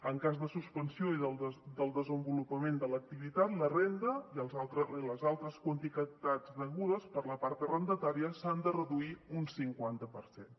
en cas de suspensió i del desenvolupament de l’activitat la renda i les altres quantitats degudes per la part arrendatària s’han de reduir un cinquanta per cent